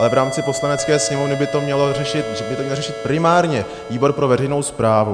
Ale v rámci Poslanecké sněmovny by to měl řešit primárně výbor pro veřejnou správu.